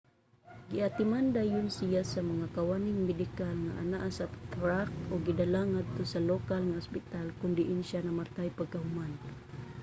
giatiman dayon siya sa mga kawaning medikal nga anaa sa track ug gidala ngadto sa lokal nga ospital kon diin siya namatay pagkahuman